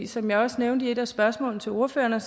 som jeg også nævnte i et af spørgsmålene til ordførerne